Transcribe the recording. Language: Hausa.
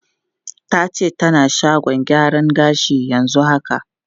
Ta ce tana shagon gyaran gashi yanzu haka.